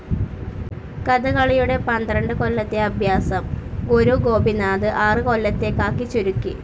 കഥകളിയുടെ പന്ത്രണ്ട് കൊല്ലത്തെ അഭ്യാസം ഗുരു ഗോപിനാഥ് ആറ് കൊല്ലത്തേക്കാക്കി ചുരുക്കി.